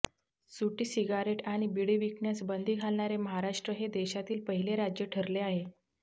सुटी सिगारेट आणि बिडी विकण्यास बंदी घालणारे महाराष्ट्र हे देशातील पहिले राज्य ठरले आहे